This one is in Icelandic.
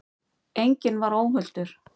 Enginn var óhultur.